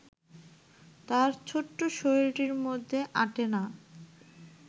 তার ছোট শরীরটির মধ্যে আঁটে না